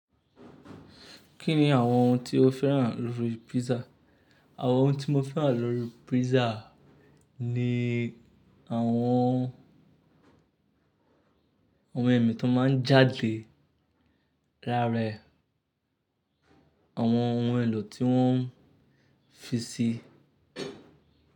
Kí ni àwọn ohun tí o féràn lórí pizza? Àwọn ohun tí mo féràn lórí pizza ni àwọn ohun ẹ̀mí tó máa ń jáde lara ẹ̀, àwọn ohun èlò tí wọ́n fi síi.